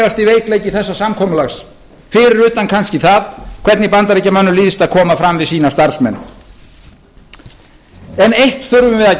er langalvarlegasti veikleiki þessa samkomulags fyrir utan kannski það hvernig bandaríkjamönnum líðst að koma fram við sína starfsmenn en eitt þurfum við að